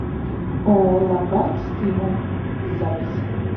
ооо ломбард стимул запись